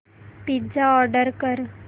pizza order कर